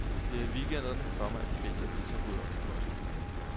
Det er i weekenderne, komma at de fleste har tid til at rydde op. punktum